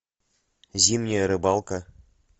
зимняя рыбалка